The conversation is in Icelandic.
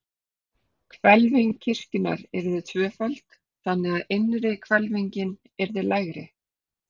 Hvelfing kirkjunnar yrði tvöföld, þannig, að innri hvelfingin yrði lægri.